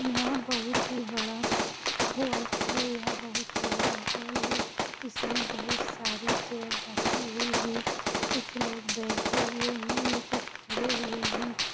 यहा बहुत ही बडा हॉल है यहा बहुत ही बड़ा हॉल है इसमे बहुत सारी चैअर रखी हुई है कुछ लोग बैठे हुए है कुछ खड़े हुए है।